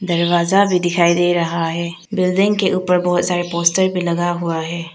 दरवाजा भी दिखाई दे रहा है बिल्डिंग के ऊपर बहुत सारा पोस्टर भी लगा हुआ है।